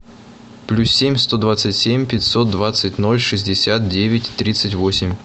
плюс семь сто двадцать семь пятьсот двадцать ноль шестьдесят девять тридцать восемь